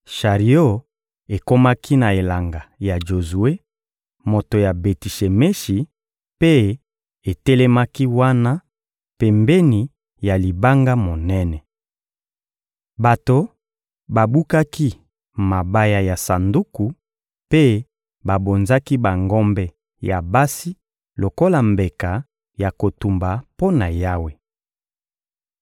Shario ekomaki na elanga ya Jozue, moto ya Beti-Shemeshi, mpe etelemaki wana, pembeni ya libanga monene. Bato babukaki mabaya ya sanduku mpe babonzaki bangombe ya basi lokola mbeka ya kotumba mpo na Yawe.